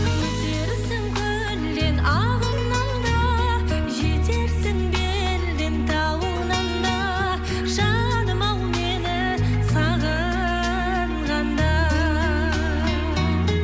өтерсің көлден ағыннан да жетерсің белден тауыңнан да жаным ау мені сағынғанда